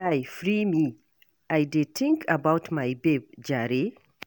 Guy free me, I dey think about my babe jare.